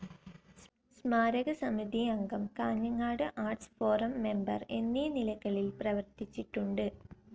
സ്മാരകസമിതി അംഗം, Kanhangad art forum member എന്നീ നിലകളിൽ പ്രവർത്തിച്ചിട്ടുണ്ട്.